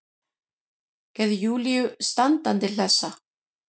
Gerði Júlíu standandi hlessa.